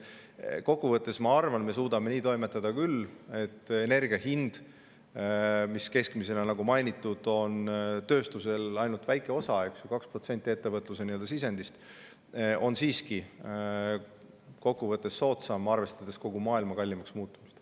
Kokku võttes ma arvan, et me suudame nii toimetada küll, et energia hind, mis keskmisena, nagu mainitud, on tööstuse ainult väike osa – 2% ettevõtluse sisendist –, on siiski soodsam, arvestades kogu maailma kallimaks muutumist.